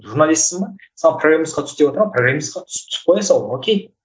журналистсың ба саған програмистқа түс деватыр ма програмистқа түсіп түсіп қоя сал ок